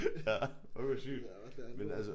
Ja. Fuck hvor sygt. Men altså